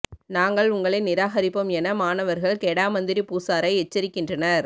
நாங்கள் உங்களை நிராகரிப்போம் என மாணவர்கள் கெடா மந்திரி புசாரை எச்சரிக்கின்றனர்